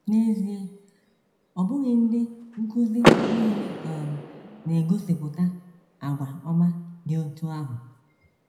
N’ezie, ọ bụghị ndị nkụzi nile um na - egosipụta àgwà ọma dị otú ahụ.